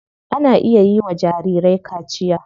Ana iya yiwa jarirai kaciya.